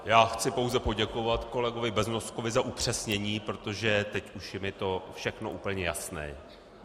Já chci pouze poděkovat kolegovi Beznoskovi za upřesnění, protože teď už je mi to všechno úplně jasné.